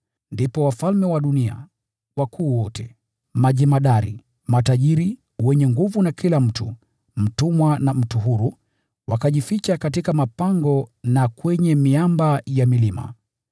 Ndipo wafalme wa dunia, wakuu wote, majemadari, matajiri, wenye nguvu na kila mtu, mtumwa na mtu huru, wakajificha katika mapango na kwenye miamba ya milima.